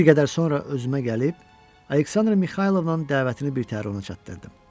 Bir qədər sonra özümə gəlib, Aleksandra Mixaylovnanın dəvətini birtəhər ona çatdırdım.